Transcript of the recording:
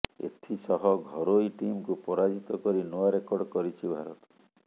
ଏଥିସହ ଘରୋଇ ଟିମକୁ ପରାଜିତ କରି ନୂଆ ରେକର୍ଡ କରିଛି ଭାରତ